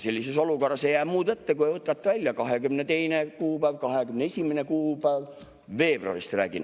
Sellises olukorras ei jää muud üle, kui võtate välja 22. kuupäeva, 21. kuupäeva – ma räägin veebruarist.